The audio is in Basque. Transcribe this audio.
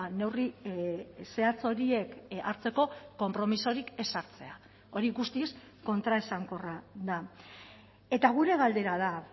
neurri zehatz horiek hartzeko konpromisorik ez hartzea hori guztiz kontraesankorra da eta gure galdera da